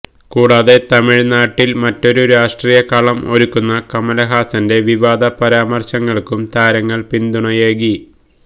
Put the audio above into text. കൂടാതെ തമിഴ് നാട്ടില് മറ്റൊരു രാഷ്ട്രീയ കളം ഒരുക്കുന്ന കമലഹാസന്റെ വിവാദ പരാമര്ശങ്ങള്ക്കും താരങ്ങള് പിന്തുണയേകി